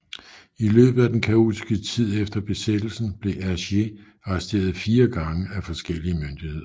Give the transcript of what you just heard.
I løbet af den kaotiske tid efter besættelsen blev Hergé arresteret fire gange af forskellige myndigheder